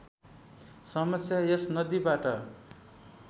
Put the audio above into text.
समस्या यस नदीबाट